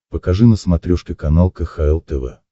покажи на смотрешке канал кхл тв